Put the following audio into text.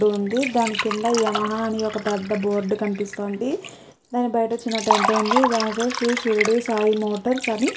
ఉంది దాని కింద యమహా అని ఒక్క పెద్ద బోర్డ్ కనిపిస్తోంది. దాన్ని బయట చిన్న టెంట్ ఉంది. దానిపై శ్రీ షిరిడి సాయి మోటార్స్ అని--